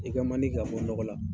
I kɛ man di ka bɔ dɔgɔ la.